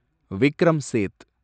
Vikram Seth